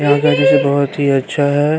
यहाँ पहिले से बहोत ही अच्छा है।